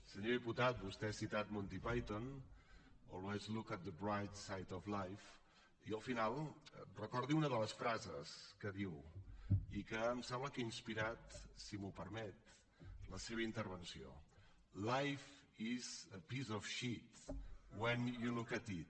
senyor diputat vostè ha citat monty python always look at the bright side of life i al final recordi una de les frases que diu i que em sembla que ha inspirat si m’ho permet la seva intervenció life is a piece of shit when you look at it